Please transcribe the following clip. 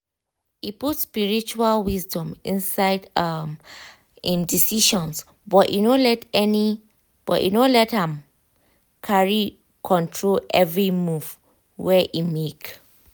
e put spiritual wisdom inside um im decisions but e no let am carry control every move wey um e make.